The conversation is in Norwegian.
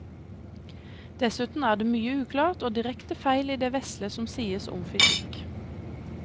Dessuten er det mye uklart og direkte feil i det vesle som sies om fysikk.